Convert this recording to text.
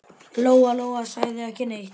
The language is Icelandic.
Lóa-Lóa sagði ekki neitt.